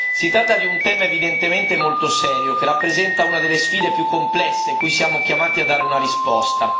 Si tratta di un tema evidentemente molto serio, che rappresenta una delle sfide più complesse cui siamo chiamati a dare una risposta.